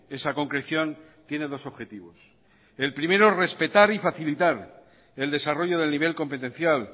esa concreción tiene dos objetivos el primero respetar y facilitar el desarrollo del nivel competencial